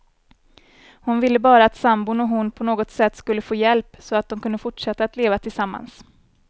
Hon ville bara att sambon och hon på något sätt skulle få hjälp, så att de kunde fortsätta att leva tillsammans.